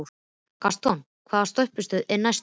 Gaston, hvaða stoppistöð er næst mér?